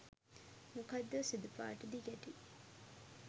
මොකක්දෝ සුදු පාට දිගැටි